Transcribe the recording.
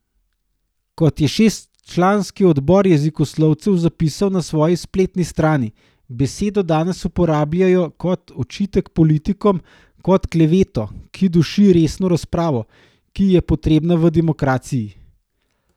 Kot je šestčlanski odbor jezikoslovcev zapisal na svoji spletni strani, besedo danes uporabljajo kot očitek politikom, kot kleveto, ki duši resno razpravo, ki je potrebna v demokraciji.